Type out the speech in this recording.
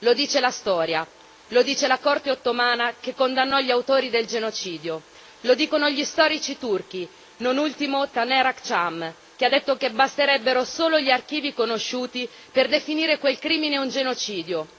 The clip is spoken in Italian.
Lo dice la storia, lo dice la Corte ottomana che condannò gli autori del genocidio, lo dicono gli storici turchi, non ultimo Taner Akçam che ha detto che basterebbero solo gli archivi conosciuti per definire quel crimine un genocidio.